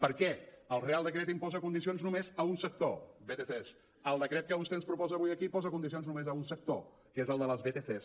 per què el reial decret imposa condicions només a un sector vtcs el decret que vostè ens proposa avui aquí posa condicions només a un sector que és el de les vtcs